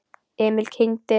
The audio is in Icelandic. Emil kyngdi.